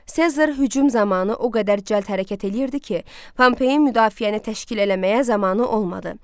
Sezar hücum zamanı o qədər cəld hərəkət eləyirdi ki, Pompeyin müdafiəni təşkil eləməyə zamanı olmadı.